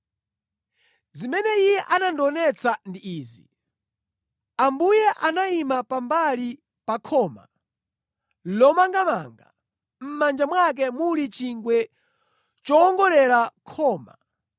Zimene Iye anandionetsa ndi izi: Ambuye anayima pambali pa khoma lomangamanga, mʼmanja mwake muli chingwe chowongolera khoma.